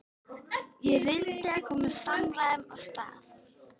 Ég reyndi að koma samræðum af stað.